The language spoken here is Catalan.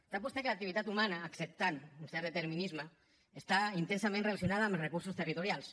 sap vostè que l’activitat humana acceptant un cert determinisme està intensament relacionada amb els recursos territorials